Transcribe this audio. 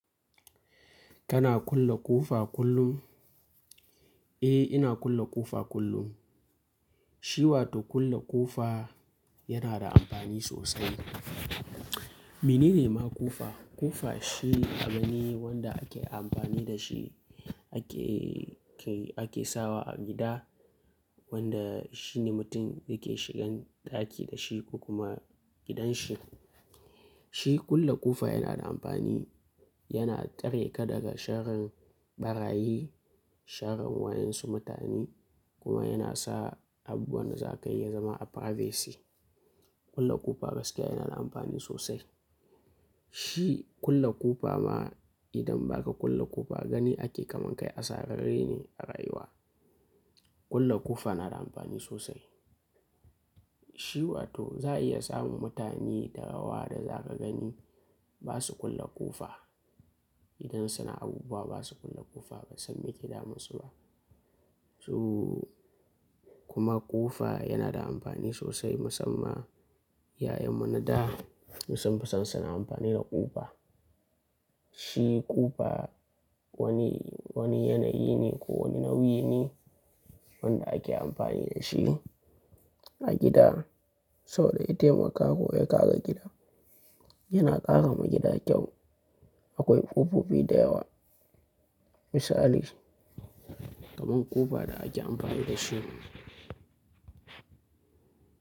Kana kulle ƙofa kullum? Eh ina kulle ƙofa kullum. Shi wato kulle ƙofa yana da amfani sosai. Menene ma ƙofa? Ƙofa shi abune wanda ake amfani da shi ake, ake sawa a gida wanda shi ne mutum yake shigan ɗaki da shi kuma gidanshi. Shi kulle ƙofa yana da amfani, yana tsare ka daga sharrin ɓarayi, sharrin wayen su mutane kuma yana sa abubuwan da zaka yi ya zama a privacy. Kulle ƙofa gaskiya yana da amfani sosai. Shi kulle ƙofa ma idan ba ka kulle ƙofa gani ake kaman kai a sararre ne a rayuwa. Kulle ƙofa na da amfani sosai. Shi wato za'a iya samun mutane da yawa da zaka gani ba su kulle ƙofa. Idan suna abubuwa ba su kulle ƙofa ba sam me ke damun su ba. So kuma ƙofa yana da amfani sosai musamman iyayenmu na da sun fi san suna amfani da ƙofa. Shi ƙofa wani, wani yanayi ne ko wani nauyi ne wanda ake amfani da shi a gida sau da ya taimaka ka ko ya kare gidan yana ƙarama gida kyau. Akwai ƙofofi da yawa misali kaman ƙofa da ake amfani da shi.